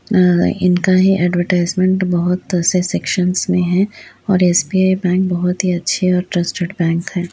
अ इनका ही ऐड्वर्टाइज़्मन्ट बहुत से सेक्शनस में है और एस.बी.आई बैंक बहुत ही अच्छे और ट्रस्टेड बैंक है।